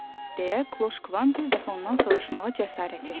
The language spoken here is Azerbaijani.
deyə Kloş Kvan bir dəfə ondan soruşmağa cəsarət etdi.